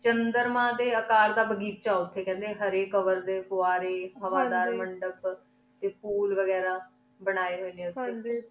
ਚੰਦਰ ਮਨ ਡੀ ਕਰ ਦਾ ਬਘਿਚ ਆਯ ਉਠੀ ਕੀ ਖੜੀ ਹਰੀ ਕਵਰ ਡੀ ਫੁਵਾਰੀ ਹਵਾ ਦਰ ਮੁਨ੍ਦੇਪ ਟੀ ਫੋਲ ਵਾਘਾਰਾ ਬਣੇ ਹੂਯ ਨੀ ਨੁਥ੍ਯ